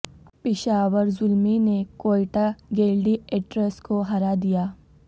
پشاور زلمی نے Quetta Gladiators کو ہرا دیا